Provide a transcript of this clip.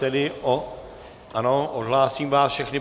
Ano, odhlásím vás všechny.